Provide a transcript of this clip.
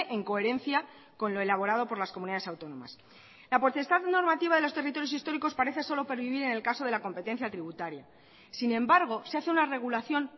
en coherencia con lo elaborado por las comunidades autónomas la potestad normativa de los territorios históricos parece solo pervivir en el caso de la competencia tributaria sin embargo se hace una regulación